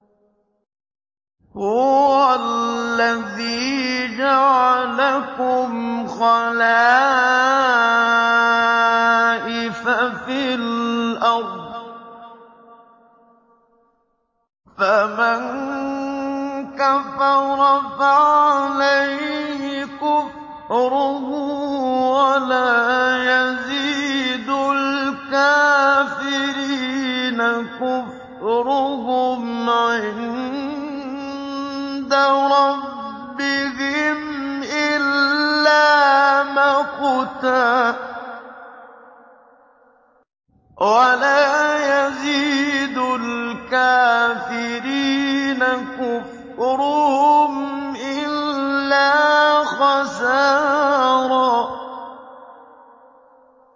هُوَ الَّذِي جَعَلَكُمْ خَلَائِفَ فِي الْأَرْضِ ۚ فَمَن كَفَرَ فَعَلَيْهِ كُفْرُهُ ۖ وَلَا يَزِيدُ الْكَافِرِينَ كُفْرُهُمْ عِندَ رَبِّهِمْ إِلَّا مَقْتًا ۖ وَلَا يَزِيدُ الْكَافِرِينَ كُفْرُهُمْ إِلَّا خَسَارًا